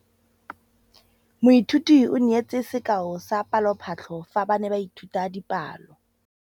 Moithuti o neetse sekaô sa palophatlo fa ba ne ba ithuta dipalo.